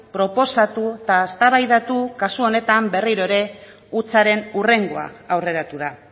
proposatu eta eztabaidatu kasu honetan berriro ere hutsaren hurrengoa aurreratu da